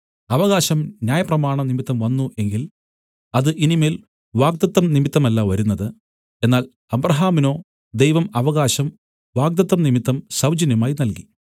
അവകാശം ന്യായപ്രമാണം നിമിത്തം വന്നു എങ്കിൽ അത് ഇനി മേൽ വാഗ്ദത്തം നിമിത്തമല്ല വരുന്നത് എന്നാൽ അബ്രാഹാമിനോ ദൈവം അവകാശം വാഗ്ദത്തം നിമിത്തം സൗജന്യമായി നല്കി